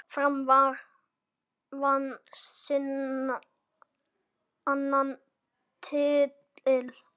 Fram vann sinn annan titil.